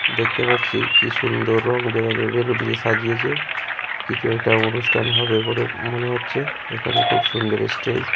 দেখতে পাচ্ছি কি সুন্দর রং বেরঙের বেলুন দিয়ে সাজিয়েছে। কিছু একটা অনুষ্ঠান হবে বলে মনে হচ্ছে। এখানে খুব সুন্দর এ স্টেজ ।